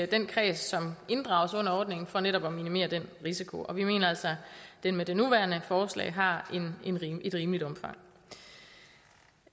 den kreds som inddrages under ordningen for netop at minimere den risiko vi mener altså at den med det nuværende forslag har et rimeligt omfang